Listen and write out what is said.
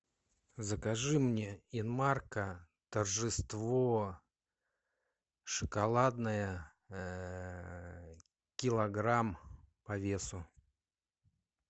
закажи мне инмарко торжество шоколадное килограмм по весу